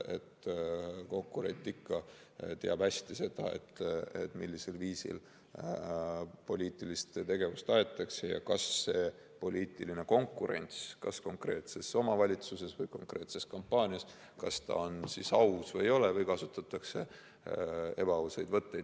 Konkurent ikka teab hästi seda, millisel viisil poliitilist tegevust aetakse ja kas poliitiline konkurents konkreetses omavalitsuses või konkreetse kampaania ajal on aus või ei ole ja kas kasutatakse ebaausaid võtteid.